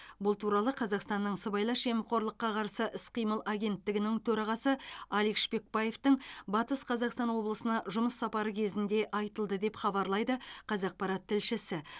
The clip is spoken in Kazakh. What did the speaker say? бұл туралы қазақстанның сыбайлас жемқорлыққа қарсы іс қимыл агенттігінің төрағасы алик шпекбаевтың батыс қазақстан облысына жұмыс сапары кезінде айтылды деп хабарлайды қазақпарат тілшісі